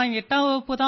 वणकम्म वणकम्म